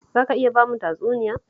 Za ka iya ba mu tatsuniya?